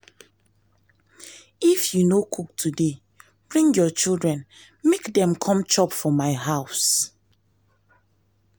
if you no cook today bring your children make dem come chop for my house